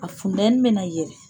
A fundɛni bɛna yɛlɛ.